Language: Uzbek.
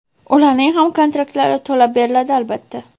ularning ham kontraktlari to‘lab beriladi, albatta.